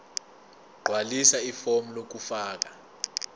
gqwalisa ifomu lokufaka